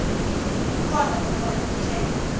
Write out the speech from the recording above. ukhona nofana ukhe